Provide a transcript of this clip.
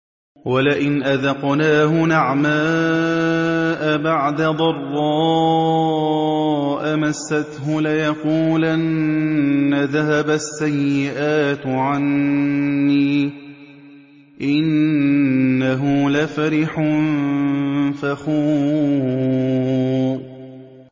وَلَئِنْ أَذَقْنَاهُ نَعْمَاءَ بَعْدَ ضَرَّاءَ مَسَّتْهُ لَيَقُولَنَّ ذَهَبَ السَّيِّئَاتُ عَنِّي ۚ إِنَّهُ لَفَرِحٌ فَخُورٌ